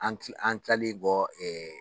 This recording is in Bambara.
An ki an kilali kɔ